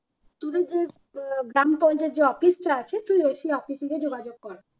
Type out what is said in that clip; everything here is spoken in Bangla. তোদের যে আহ গ্রাম পঞ্চায়েত যে office টা আছে তুই সে office এ যেয়ে যোগাযোগ কর